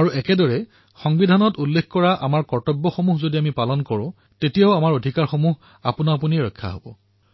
আৰু এইদৰেই যদি আমি সংবিধানত প্ৰদান কৰা নিজৰ কৰ্তব্যসমূহ পালন কৰোঁ তেতিয়া আমাৰ অধিকাৰৰ ৰক্ষাও স্বয়ং হব